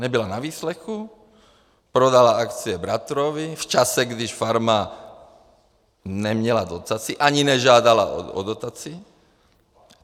Nebyla na výslechu, prodala akcie bratrovi v době, kdy farma neměla dotaci, ani nežádala o dotaci.